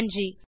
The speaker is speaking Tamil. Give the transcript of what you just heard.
நன்றி